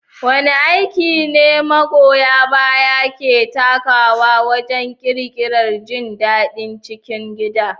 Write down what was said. Wane aiki ne magoya baya ke takawa wajen ƙirƙirar jin daɗin cikin gida?